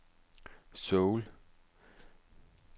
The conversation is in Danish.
Seoul